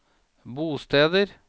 bosteder